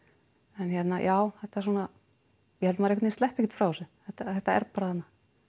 en hérna já þetta svona ég held maður sleppi ekkert frá þessu þetta þetta er bara þarna